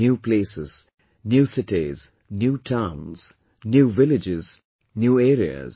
New places, new cities, new towns, new villages, new areas